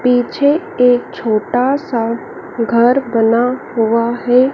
पीछे एक छोटा सा घर बना हुआ है।